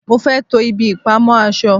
mo fé to ibi ìpamọ́ aṣọ